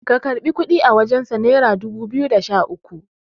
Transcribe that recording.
ka karɓi kudi a wajensa naira dubu biyu da Sha uku